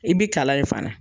I bɛ kalan ye fana